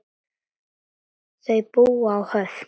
Þau búa á Höfn.